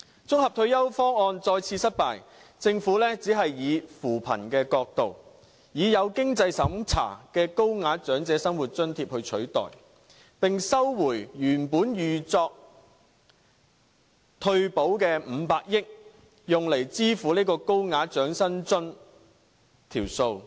綜合性退休方案再次失敗，政府只是以扶貧的角度，以有經濟審查的高額長者生活津貼來取代，並收回原本預作退保的500億元，用來支付高額長者生活津貼的數目。